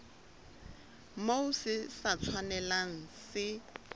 moo se sa tshwanelang se